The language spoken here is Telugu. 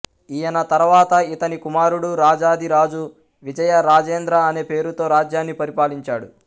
ఈయన తర్వాత ఇతని కుమారుడు రాజాధిరాజు విజయ రాజేంద్ర అనే పేరుతో రాజ్యాన్ని పరిపాలించాడు